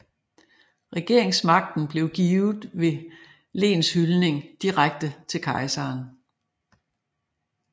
Regeringsmagten blev givet ved lenshyldning direkte til kejseren